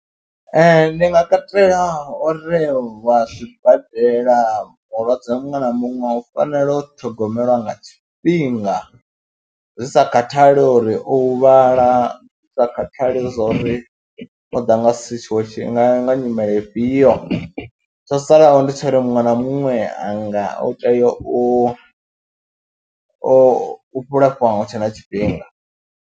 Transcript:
Ee, ndi nga katela uri vha zwibadela mulwadze muṅwe na muṅwe u fanela u ṱhogomeliwa nga tshifhinga zwi sa khathali uri o huvhala, zwi sa khathali zwa uri o ḓa nga situation, o ḓ nga nyimele ifhio, tsho salaho ndi tsha uri muṅwe na muṅwe a nga u tea u u lafhea hu tshe na tshifhinga.